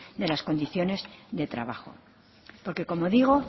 de las condiciones de trabajo porque como digo